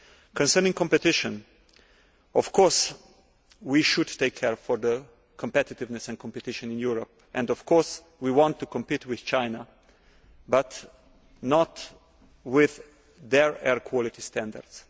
Concerning competition, of course we should take care of competitiveness and competition in Europe and of course we want to compete with China but not with their air quality standards.